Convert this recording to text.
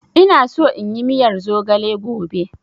Ina so inyi miyar zogale gobe.